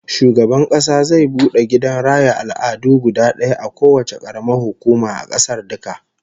Shugaban Kasa zai bude gidan raya al'adu guda daya a kowacce karamar hukuma a kasar duka